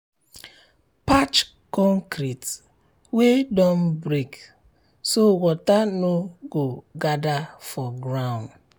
patch concrete wey don break so water no um go gather for ground.